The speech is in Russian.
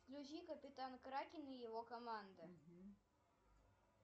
включи капитан кракен и его команда